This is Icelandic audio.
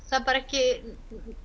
það er bara ekki